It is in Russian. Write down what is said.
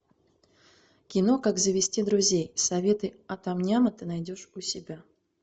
кино как завести друзей советы от ам няма ты найдешь у себя